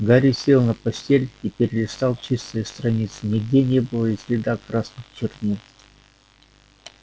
гарри сел на постель и перелистал чистые страницы нигде не было и следа красных чернил